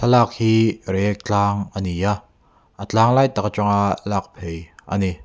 lâk hi reiek tlâng a ni a a tlâng lai tak aṭanga lâk phei a ni.